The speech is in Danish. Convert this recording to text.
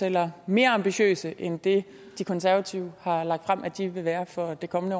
eller mere ambitiøs end det de konservative har lagt frem at de vil være for det kommende